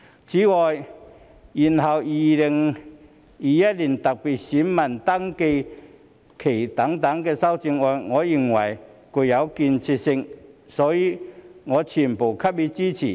此外，延後2021年特別選民登記限期等修正案，我認為具建設性，所以我全部給予支持。